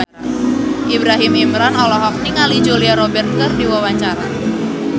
Ibrahim Imran olohok ningali Julia Robert keur diwawancara